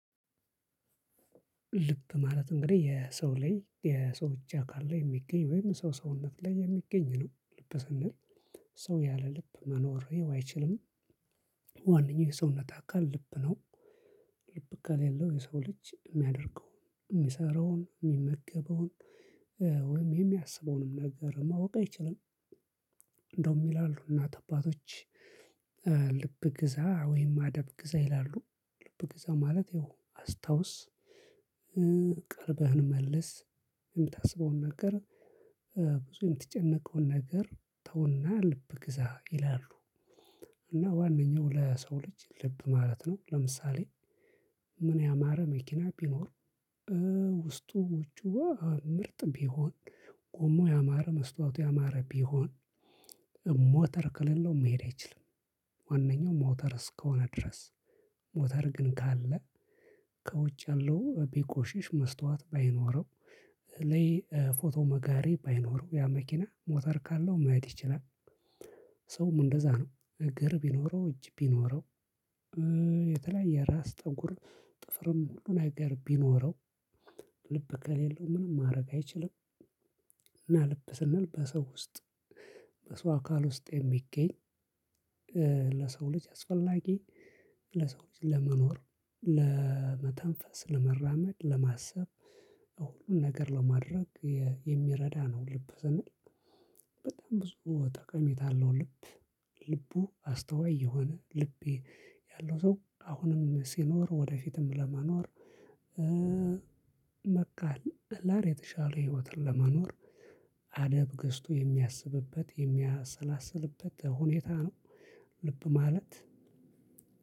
ልብ ማለት እንግዲህ የሰው ላይ የሰዎች አካል ላይ የሚገኝ ወይም በሰው ሰውነት ላይ የሚገኝ ነው ልብ ስንል ሰው ያለ ልብ መኖሬው አይችልም። ዋነኛው የሰውነት አካል ልብ ነው። ልብ ከሌለው የሰው ልጅ እሚያደርገው እሚሰራውን እሚመገበውን ወይም የሚያስበውንም ነገር ማወቅ አይችልም። እንደውም ይላሉ እናት አባቶች። ልብ ግዛ ወይም አደብ ግዛ ይላሉ ልብ ግዛ ማለት ያው አስታውስ። ቀልብህን መልስ የምታስበውን ነገር ብዙ የምትጨነቀውን ነገር ተው እና ልብ ግዛ ይላሉ። እና ዋነኛው ለሰው ልጅ ልብ ማለት ነው። ለምሳሌ ምን ያማረ መኪና ቢኖር። ውስጡ ውጪው ምርጥ ቢሆን ቆሞ ያማረ መስታወቱ ያማረ ቢሆን ሞተር ከሌለው መሄድ አይችልም። ዋነኛው ሞተር እስከሆነ ድረስ። ሞተር ግን ካለ ከውጭ ያለው ቢቆሽሽ መስታወት ባይኖረው ለይ ፎቶ መጋሬ ባይኖረው ያ መኪና ሞተር ካለው መሄድ ይችላል። ሰውም እንደዛ ነው እግር ቢኖረው እጅ ቢኖረው የተለያየ ራስ ጠጉር ጥፍርም ሁሉ ነገር ቢኖረው ልብ ከሌለው ምንም ማረግ አይችልም። እና ልብ ስንል በሰው ውስጥ በሰው አካል ውስጥ የሚገኝ ለሰው ልጅ አስፈላጊ ለሰው ልጅ ለመኖር ለመተንፈስ ለመራመድ ለማሰብ ሁሉን ነገር ለማድረግ የ የሚረዳ ነው። ልብ ስንል በጣም ብዙ ጠቀሜታ አለው ልብ። ልቡ አስተዋይ የሆነ ልቤ ያለው ሰው አሁንም ሲኖር ወደፊትም ለመኖር መካል ህላር የተሻለ ህይወትን ለመኖር አደብ ገዝቶ የሚያስብበት የሚያሰላስልበት ሁኔታ ነው። ልብ ማለት